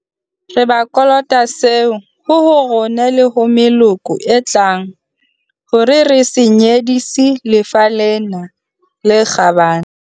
Re ba kolota seo, ho ho rona le ho meloko e tlang hore re se nyedisi lefa lena le kgabane.